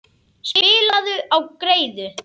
Spilaðu á greiðu.